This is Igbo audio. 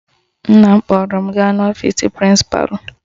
Nna m kpọrọ m gaa n'ọfisi prịnsịpalụ.